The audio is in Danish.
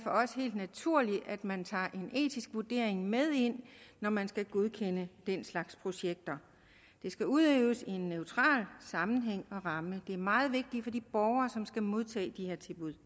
helt naturligt at man tager en etisk vurdering med ind når man skal godkende den slags projekter det skal udøves i en neutral sammenhæng og ramme det er meget vigtigt for de borgere som skal modtage de her tilbud